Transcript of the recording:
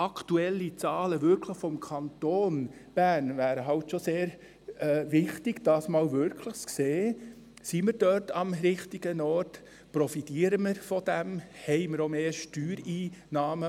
Es wäre halt wirklich sehr wichtig, aktuelle Zahlen des Kantons Bern zu haben, um abschätzen zu können, ob wir dort am richtigen Ort sind, ob wir davon profitieren und ob wir auch mehr Steuereinnahmen haben.